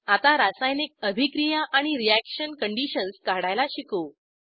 आता रासायनिक अभिक्रिया आणि रीअॅक्शन कंडिशन्स काढायला शिकू